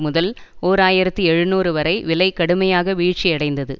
முதல் ஓர் ஆயிரத்தி எழுநூறு வரை விலை கடுமையாக வீழ்ச்சியடைந்தது